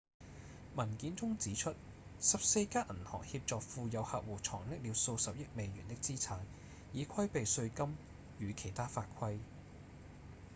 文件中指出14家銀行協助富有客戶藏匿了數十億美元的資產以規避稅金與其他法規